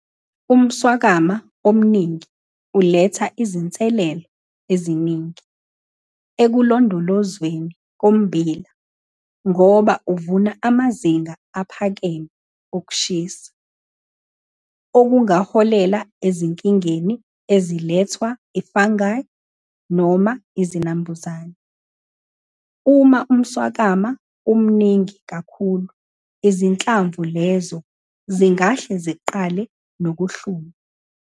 Umswakama omningi uletha izinselelo eziningi ekulondolozweni kommbila ngoba uvuna amazinga aphakeme okushisa okungaholela ezinkingeni ezilethwa ifungi noma izinambuzane. Uma umswakama umningi kakhulu izinhlamvu lezo zingahle ziqale nokuhluma.